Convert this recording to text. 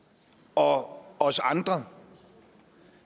og os andre